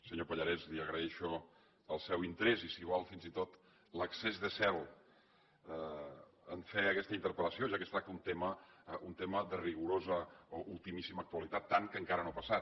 senyor pallarès li agraeixo el seu interès i si vol fins i tot l’excés de zel en fer aquesta interpel·lació ja que es tracta d’un tema de rigorosa o ultimíssima actualitat tant que encara no ha passat